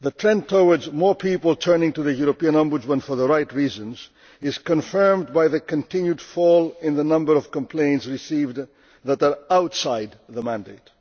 The trend towards more people turning to the European Ombudsman for the right reasons is confirmed by the continued fall in the number of complaints received that are outside the mandate.